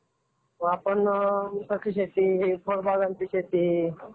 आपण उसाची शेती, फळबागाची शेती. त्यानंतर